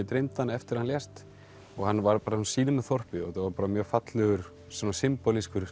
dreymdi hann eftir að hann lést og hann var í sínu þorpi þetta var mjög fallegur